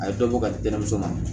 A ye dɔ bɔ ka di denmuso ma